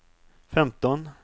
femton